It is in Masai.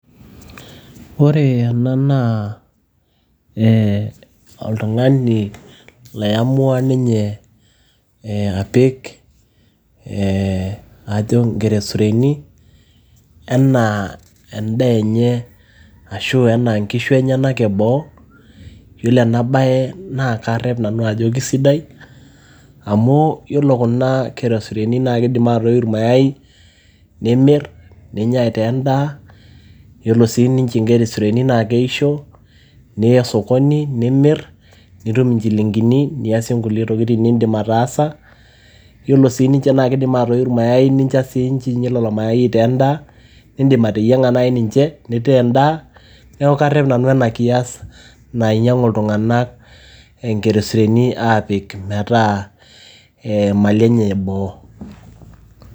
ore ena naa ee oltung'ani loiyamua ninye apik ee ajo inkeresureni enaa endaa enye ashu enaa inkishu enyanak eboo yiolo ena baye naa karrep nanu ajo kisidai amu yiolo kuna keresureni naa kidim atoiu ir mayai nimirr ninya aitaa endaa yiolo sii ninche inkeresureni naa keisho niya sokoni nimirr nitum inchilingini niasie nkulie tokitin nindim ataasa yiolo sii ninche naa kidim atoiu ir mayai ninya siinche lelo mayai aitaa endaa nindim ateyieng'a naaji ninche nintaa endaa neeku karrep nanu ena kias nainyiang'u iltung'anak ee inkeresureni, aapik metaa imali enye eboo.